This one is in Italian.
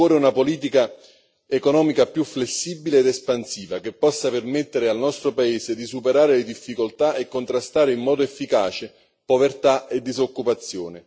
Occorre una politica economica più flessibile ed espansiva, che possa permettere al nostro paese di superare le difficoltà e contrastare in modo efficace povertà e disoccupazione.